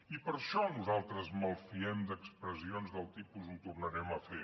i per això nosaltres ens malfiem d’expressions del tipus ho tornarem a fer